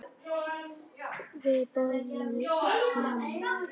Við borðum snemma.